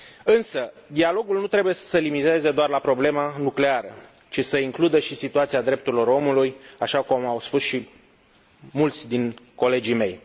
Însă dialogul nu trebuie să se limiteze doar la problema nucleară, ci să includă și situația drepturilor omului, așa cum au spus și mulți dintre colegii mei.